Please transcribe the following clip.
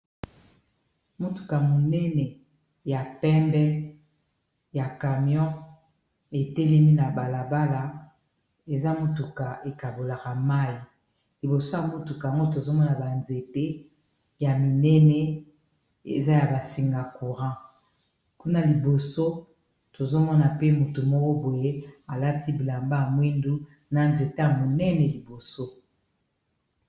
Motuka monene ya pembe ya camion etelemi na balabala eza motuka ekabolaka mayi liboso ya motuka yango tozomona ba nzete ya minene eza ya basinga courant kuna liboso tozomona pe motu moko boye alati bilamba ya mwindu na nzete ya monene liboso.